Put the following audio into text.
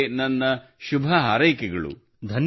ನಿಮಗೆ ನನ್ನ ಶುಭ ಹಾರೈಕೆಗಳು